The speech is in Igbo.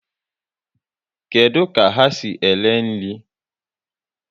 Kedụ ka ha si ere nri?